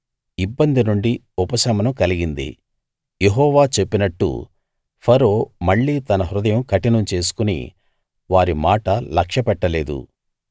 ఇబ్బంది నుండి ఉపశమనం కలిగింది యెహోవా చెప్పినట్టు ఫరో మళ్ళీ తన హృదయం కఠినం చేసుకుని వారి మాట లక్ష్యపెట్టలేదు